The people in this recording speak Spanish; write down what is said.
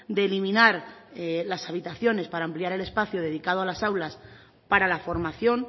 de eliminar las habitaciones para ampliar el espacio dedicado a las aulas para la formación